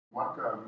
Já, hann var það